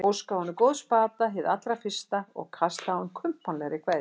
Óskaði honum góðs bata hið allra fyrsta og kastaði á hann kumpánlegri kveðju.